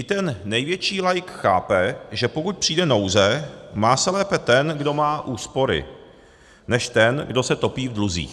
I ten největší laik chápe, že pokud přijde nouze, má se lépe ten, kdo má úspory, než ten, kdo se topí v dluzích.